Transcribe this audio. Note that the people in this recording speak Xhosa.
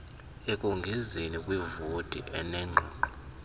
ekongezeni kwivoti enengxoxo